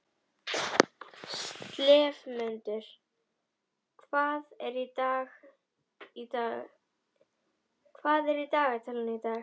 slefmundur, hvað er í dagatalinu í dag?